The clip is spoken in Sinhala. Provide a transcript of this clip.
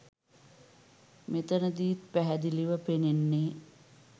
මෙතනදීත් පැහැදිලිව පෙනෙන්නේ